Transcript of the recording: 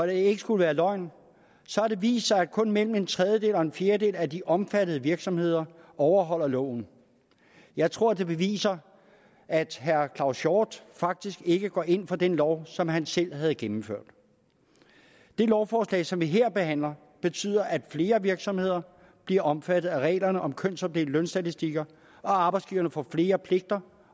det ikke skulle være løgn har det vist sig at kun mellem en tredjedel og en fjerdedel af de omfattede virksomheder overholder loven jeg tror det beviser at herre claus hjort faktisk ikke går ind for den lov som han selv havde gennemført det lovforslag som vi her behandler betyder at flere virksomheder bliver omfattet af reglerne om kønsopdelte lønstatistikker at arbejdsgiverne får flere pligter